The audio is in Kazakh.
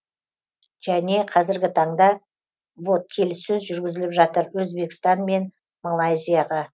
және қазіргі таңда вот келіссөз жүргізіліп жатыр өзбекстан мен малайзияға